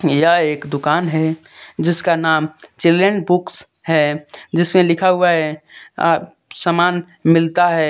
यह एक दुकान है जिसका नाम चिल्ड्रन बुक्स है। जिसमें लिखा हुआ है अं सामान मिलता है ।